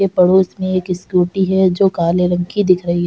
ये पड़ोस में एक स्कूटी है जो काले रंग की दिख रही --